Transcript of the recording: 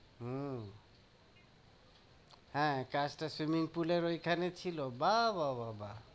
হুম হ্যাঁ, কাজটা swimming pool এর ওইখানে ছিল? বাহ্, বাহ্, বাহ্, বাহ্।